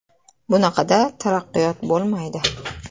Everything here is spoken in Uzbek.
Bunaqada taraqqiyot bo‘lmaydi.